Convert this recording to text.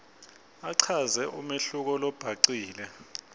achaze umehluko lobhacile